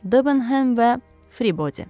Debenhem və Fribody.